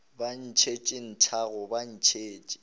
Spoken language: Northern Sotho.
ba ntšhetše nthago ba ntšhetše